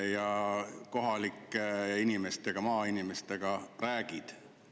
– ja sel teemal kohalike inimestega, maainimestega räägid?